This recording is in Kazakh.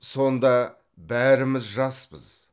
сонда бәріміз жаспыз